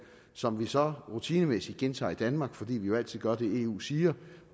som vi så rutinemæssigt gentager i danmark fordi vi jo altid gør det eu siger